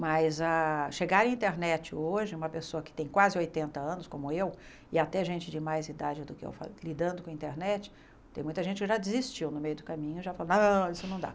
Mas a chegar à internet hoje, uma pessoa que tem quase oitenta anos, como eu, e até gente de mais idade do que eu, lidando com a internet, tem muita gente que já desistiu no meio do caminho, já falou não, isso não dá.